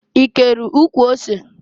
I kere ụkwụ ose?